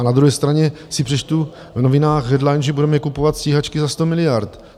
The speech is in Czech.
A na druhé straně si přečtu v novinách Headline, že budeme kupovat stíhačky za 100 miliard.